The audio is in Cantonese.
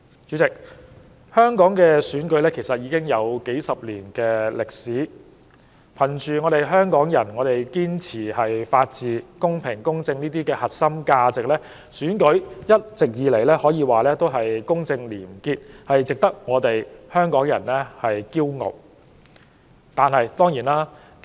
主席，香港的選舉已有數十年歷史，憑着香港人對法治、公平、公正等核心價值的堅持，選舉一直以來都公正廉潔，值得香港人引以自豪。